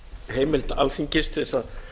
heimildar alþingis til þess að